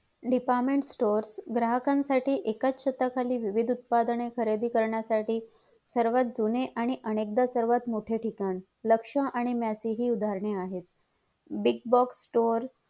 Department store ग्राहकांसाठी एकाच छताखाली विविध उत्पादने खरेदी करण्यासाठी सर्वात जुने आणि अनेकदा सर्वात मोठे ठिकाण लक्ष्यआणि मॅपी ही उदाहरणे आहेत big box store